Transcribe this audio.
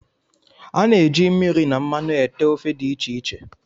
A na-eji mmiri na mmanụ ete ofe dị iche iche